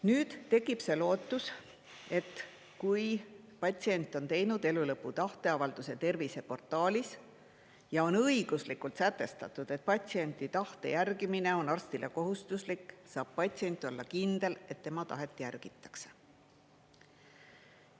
Nüüd tekib see lootus, et kui patsient on teinud elulõpu tahteavalduse terviseportaalis ja on õiguslikult sätestatud, et patsiendi tahte järgimine on arstile kohustuslik, saab patsient olla kindel, et tema tahet järgitakse.